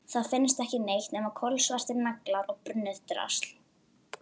Það finnst ekki neitt nema kolsvartir naglar og brunnið drasl.